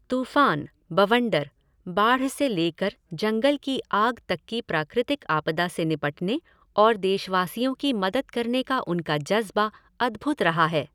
तूफ़ान, बवंडर, बाढ़ से लेकर जंगल की आग तक की प्राकृतिक आपदा से निपटने और देशवासियों की मदद करने का उनका जज़्बा अद्भुत रहा है।